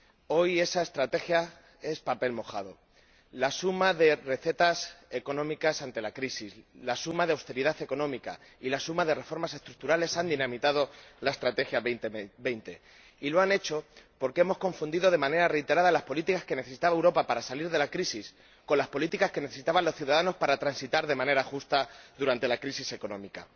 Hoy esa estrategia es papel mojado. La suma de recetas económicas ante la crisis, de austeridad económica y de reformas estructurales ha dinamitado la Estrategia Europa 2020. Y lo ha hecho porque hemos confundido de manera reiterada las políticas que necesitaba Europa para salir de la crisis con las políticas que necesitaban los ciudadanos para transitar de manera justa durante la crisis económica.